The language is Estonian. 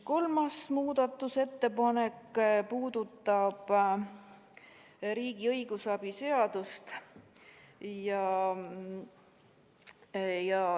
Kolmas muudatusettepanek puudutab riigi õigusabi seadust.